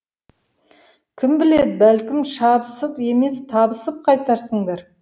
кім біледі бәлкім шабысып емес табысып қайтарсыңдар